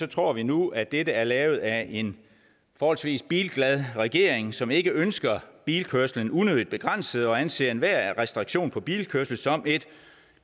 tror vi nu at dette er lavet af en forholdsvis bilglad regering som ikke ønsker bilkørslen unødigt begrænset og som anser enhver restriktion på bilkørsel som et